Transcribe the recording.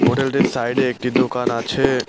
হোটেলটির সাইডে একটি দোকান আছে।